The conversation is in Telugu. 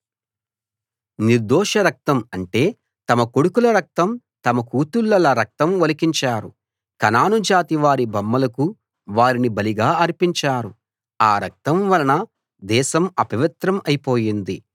నిర్దోష రక్తం అంటే తమ కొడుకుల రక్తం తమ కూతుళ్ళల రక్తం ఒలికించారు కనాను జాతి వారి బొమ్మలకు వారిని బలిగా అర్పించారు ఆ రక్తం వలన దేశం అపవిత్రం అయిపోయింది